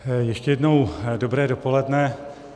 Ještě jednou dobré dopoledne.